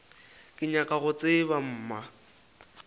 ke nyaka go tseba mma